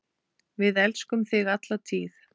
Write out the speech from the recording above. Við elskum þig alla tíð.